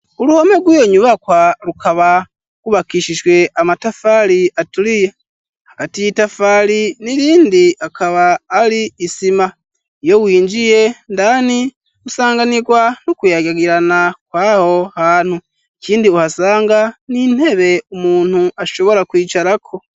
Uruhome rwiyo nyubakwa rukaba rwubakishijwe amatafari aturiye hagati y'itafari n'irindi akaba ari isima iyo winjiye indani usanganirwa n'ukuyagagirana kwaho hantu ikindi uhasanga n'intebe umuntu ashobora kwicarako.